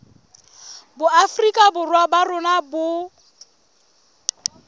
boafrika borwa ba rona bo